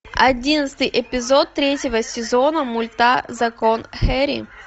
одиннадцатый эпизод третьего сезона мульта закон хэрри